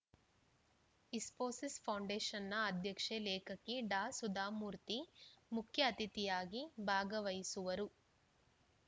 Infosys foundation ಅಧ್ಯಕ್ಷೆ ಲೇಖಕಿ ಡಾಸುಧಾ ಮೂರ್ತಿ ಮುಖ್ಯ ಅತಿಥಿಯಾಗಿ ಭಾಗವಹಿಸುವರು